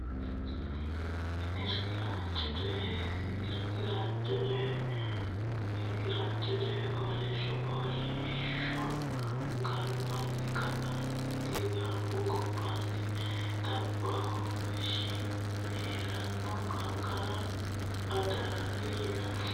Irkisaancho coy Irkisaancho coy Irkisaancho coy fooliishsho fooliishsho fooliishsho Hawaasa yinoonnihu giddosi noo garbinni ka neeti Garbu gobbaanni Xaphishsha hee ranno qarqara Adaare yinanni.